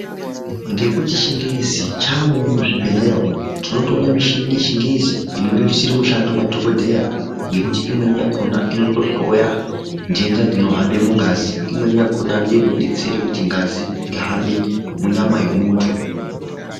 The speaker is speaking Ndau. Ngekuti chingezi chaamowo muzvibhehlera umu, tinotoone mushini yechingezi inorerusira mushando madhokodheya ngekuti imweni yakona inotohloya ntenda dzinohamba mungazi imweni yakona ndoinodetsera kuti ngazi ihambe munyama mwemuntu.